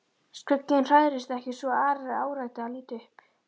Skugginn hrærðist ekki svo Ari áræddi að líta upp.